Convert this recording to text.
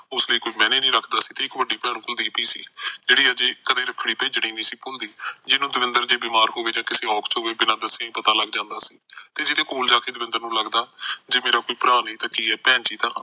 ਉਸਦੇ ਕੋਈ ਮਹਿਨੇ ਨਹੀਂ ਰੱਖਦਾ ਸੀ ਉਸ ਦੀ ਵੱਡੀ ਭੈਣ ਕੁਲਦੀਪ ਵੀ ਸੀ ਜਿਹੜੀ ਅਜੇ ਇੱਕ ਦਿਨ ਰੱਖੜੀ ਪੇਜਨੀ ਨਹੀਂ ਸੀ ਭੁਲਦੀ ਜਿਸਨੂੰ ਦਵਿੰਦਰ ਦੇ ਬਿਮਾਰ ਹੋਵੇ ਜਾ ਕਿਸੇ ਓਬ ਤੋਂ ਬਿਨਾ ਦਸੇ ਪਤਾ ਲੱਗ ਜਾਂਦਾਂ ਜੀਦਾ ਕੋਲ ਜਾ ਕ ਦਵਿੰਦਰ ਨੂੰ ਲੱਗਦਾ ਭਰਾ ਭੈਣ ਜੀਤਾ